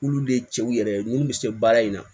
Olu de ye cɛw yɛrɛ ye munnu bɛ se baara in na